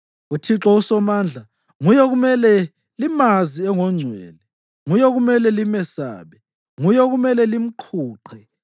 UThixo uSomandla nguye okumele limazi engongcwele, nguye okumele limesabe, nguye okumele limqhuqhe.